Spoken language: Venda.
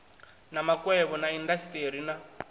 wa makwevho na indasiteri na